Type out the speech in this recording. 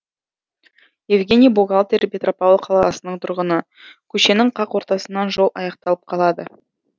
евгений бухгалтер петропавл қаласының тұрғыны көшенің қақ ортасынан жол аяқталып қалады